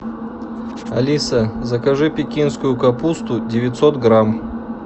алиса закажи пекинскую капусту девятьсот грамм